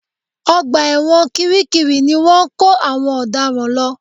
Ọgbà ẹ̀wọ̀n kiri kiri ni wọ́n ń kó àwọn ọ̀daràn lọ